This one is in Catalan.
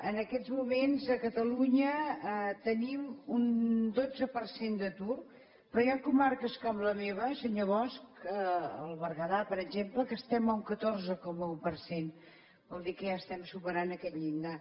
en aquests moments a catalunya tenim un dotze per cent d’atur però hi ha comarques com la meva senyor bosch el berguedà per exemple que estem a un catorze coma un per cent vol dir que ja estem superant aquest llindar